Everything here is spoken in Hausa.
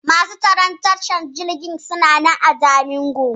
Masu tsaron tashan jirgin suna nan a Jalingo.